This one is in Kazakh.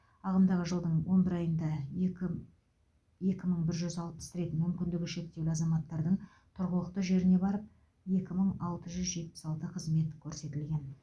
ағымдағы жылдың он бір айында екі екі мың бір жүз алпыс рет мүмкіндігі шектеулі азаматтардың тұрғылықты жеріне барып екі мың алты жүз жетпіс алты қызмет көрсетілген